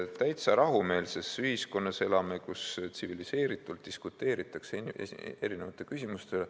Täiesti rahumeelses ühiskonnas elame, täiesti tsiviliseeritult diskuteeritakse erinevate küsimuste üle.